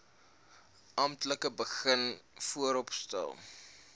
amptelik begin vooropstel